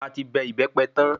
A ti bẹ ìbẹ́pẹ tan